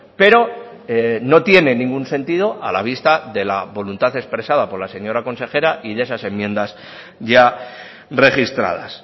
pero no tiene ningún sentido a la vista de la voluntad expresada por la señora consejera y de esas enmiendas ya registradas